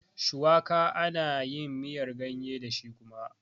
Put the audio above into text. Shuwaka ana yin miyar ganye dashi kuma